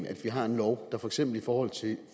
at vi har en lov der for eksempel i forhold til